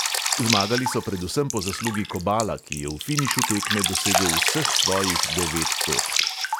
Zmagali so predvsem po zaslugi kobala, ki je v finišu tekme dosegel vseh svojih devet točk.